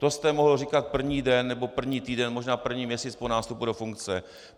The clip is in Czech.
To jste mohl říkat první den nebo první týden, možná první měsíc po nástupu do funkce.